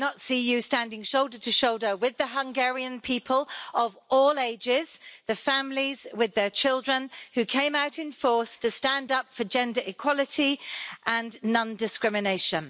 I did not see you standing shoulder to shoulder with the Hungarian people of all ages, the families with their children, who came out in force to stand up for gender equality and non discrimination.